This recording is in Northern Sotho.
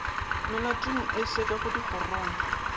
melatong ye e sekwago dikgorong